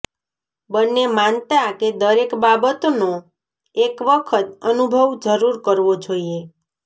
બંને માનતા કે દરેક બાબતનો એક વખત અનુભવ જરૂર કરવો જોઈએ